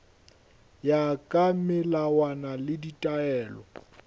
ya ka melawana le ditaelo